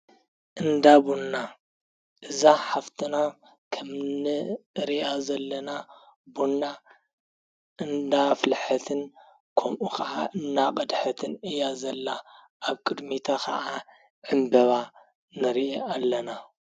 እንዳቦንና እዛ ሓፍትና ኸምንእርያ ዘለና ቦንና እንናፍልሐትን ከምኡ ኸዓ እናቀደሐትን እያ ዘላ ኣብ ቅድሚታ ኸዓ ዕምበባ ነርየ ኣለና።